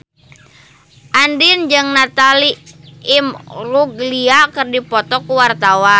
Andien jeung Natalie Imbruglia keur dipoto ku wartawan